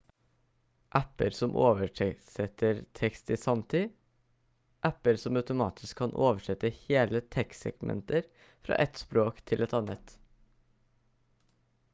apper som oversetter tekst i sanntid apper som automatisk kan oversette hele tekstsegmenter fra ett språk til et annet